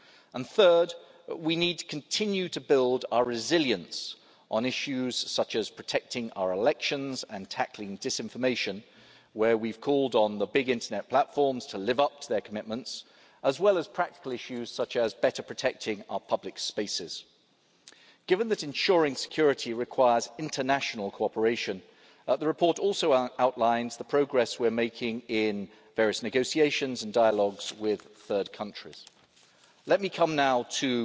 And third, we need to continue to build our resilience on issues such as protecting our elections and tackling disinformation on which we've called on the big internet platforms to live up to their commitments as well as practical issues such as better protecting our public spaces. Given that ensuring security requires international cooperation, the report also outlines the progress we're making in various negotiations and dialogues with third countries. Let me come now